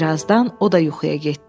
Bir azdan o da yuxuya getdi.